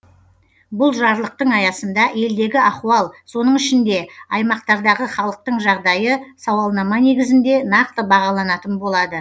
бұл жарлықтың аясында елдегі ахуал соның ішінде аймақтардағы халықтың жағдайы сауалнама негізінде нақты бағаланатын болады